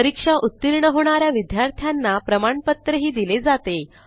परीक्षा उत्तीर्ण होणा या विद्यार्थ्यांना प्रमाणपत्रही दिले जाते